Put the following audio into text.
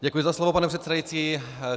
Děkuji za slovo, pane předsedající.